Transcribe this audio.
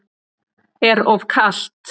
Er of kalt.